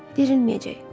Dirilməyəcək.